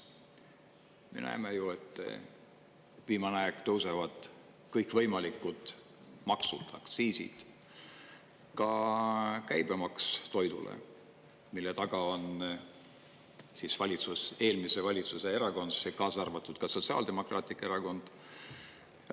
Me näeme ju, et viimane aeg tõusevad kõikvõimalikud maksud, aktsiisid, ka käibemaks toidule, mille taga on siis eelmise valitsuse erakonnad, kaasa arvatud Sotsiaaldemokraatlik Erakond.